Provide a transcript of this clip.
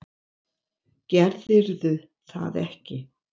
Gerðirðu það ekki?